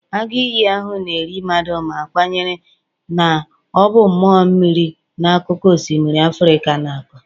Agụ iyi ahụ na-eri mmadụ ma kwenyere na ọ bụ mmụọ mmiri na akụkọ osimiri Africa na-akọ.